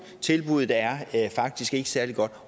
tilbuddet er faktisk ikke særlig godt